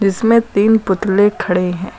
इसमें तीन पुतले खड़े हैं।